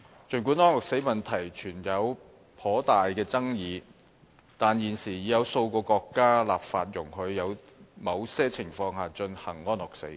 儘管安樂死問題存在頗大爭議，但現時已有數個國家立法容許在某些情況下進行安樂死。